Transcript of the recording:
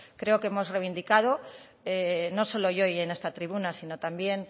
creo que hemos reivindicado no solo yo hoy en esta tribuna sino también